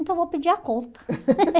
Então vou pedir a conta.